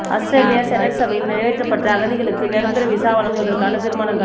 அவுஸ்திரேலிய செனட் சபையில் நிறைவேற்றப்பட்ட அகதிகளுக்கு நிரந்தர விசா வழங்குவதற்கான தீர்மானங்கள்